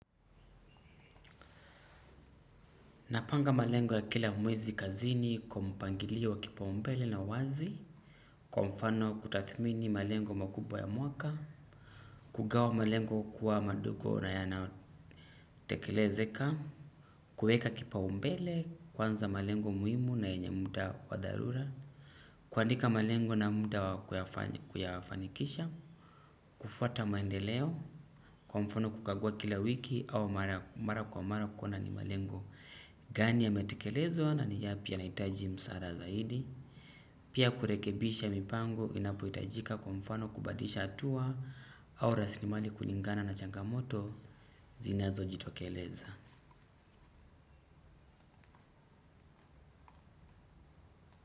Napanga malengo ya kila mwezi kazini kwa mpangilio wa kipa umbele na wazi. Kwa mfano kutathmini malengo makubwa ya mwaka kugawa malengo kuwa madogo na yanayotekelezeka kueka kipa umbele kwanza malengo muimu na yenye muda wa dharura kuandika malengo na muda kuyafanikisha kufota maendeleo kwa mfano kukagua kila wiki au mara kwa mara kuona ni malengo gani yametikelezwa na ni yapi yanaitaji msara zaidi. Pia kurekebisha mipango inapoitajika kwa mfano kubadisha atua au rasilimali kulingana na changamoto zinazo jitokeleza.